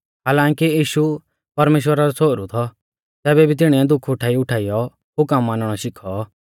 हालांकि यीशु परमेश्‍वरा रौ छ़ोहरु थौ तैबै भी तिणीऐ दुःख उठाईउठाइयौ हुकम मानणौ शिखौ